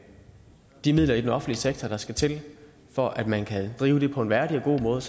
de midler i den offentlige sektor der skal til for at man kan drive det på en værdig og god måde og